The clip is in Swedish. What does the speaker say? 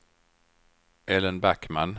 Ellen Backman